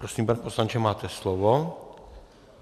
Prosím, pane poslanče, máte slovo.